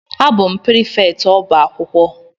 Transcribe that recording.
A bụ m prịfèktị ọbá akwụkwọ